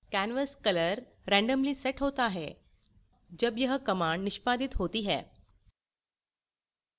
canvas color randomly set होता है जब यह command निष्पादित होती है